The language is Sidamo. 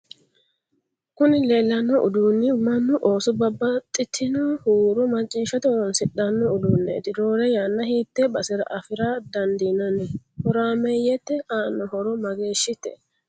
kuni leellanno udduunni mannu ooso babbaxtinno huuro macciishate horoonsidhanno udduuneeti. roore yanna hiitee basera afira dandiinanni? horaameyyete aanno horo mageeshite?